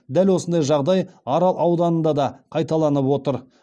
дәл осындай жағдай арал ауданында да қайталанып отыр